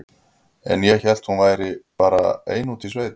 En ég hélt að hún vildi bara vera ein úti í sveit.